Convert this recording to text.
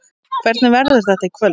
Hvernig verður þetta í kvöld?